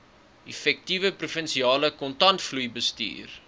effektiewe provinsiale kontantvloeibestuur